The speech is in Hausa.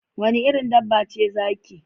Wanne irin dabba ce zaki?